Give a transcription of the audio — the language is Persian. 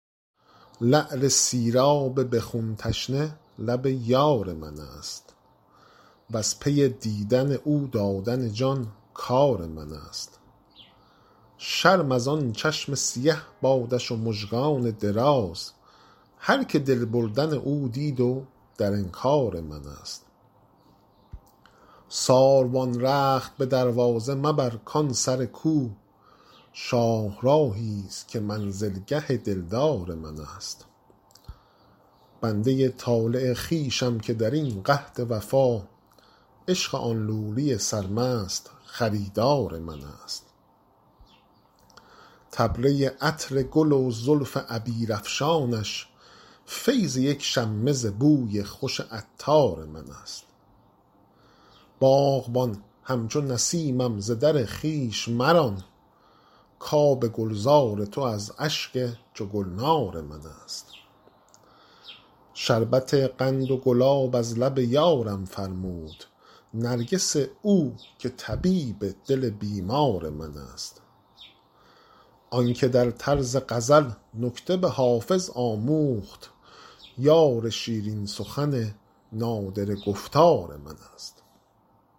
لعل سیراب به خون تشنه لب یار من است وز پی دیدن او دادن جان کار من است شرم از آن چشم سیه بادش و مژگان دراز هرکه دل بردن او دید و در انکار من است ساروان رخت به دروازه مبر کان سر کو شاهراهی ست که منزلگه دلدار من است بنده ی طالع خویشم که در این قحط وفا عشق آن لولی سرمست خریدار من است طبله ی عطر گل و زلف عبیرافشانش فیض یک شمه ز بوی خوش عطار من است باغبان همچو نسیمم ز در خویش مران کآب گلزار تو از اشک چو گلنار من است شربت قند و گلاب از لب یارم فرمود نرگس او که طبیب دل بیمار من است آن که در طرز غزل نکته به حافظ آموخت یار شیرین سخن نادره گفتار من است